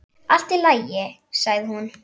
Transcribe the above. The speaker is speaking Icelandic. Allt í lagi, sagði hún.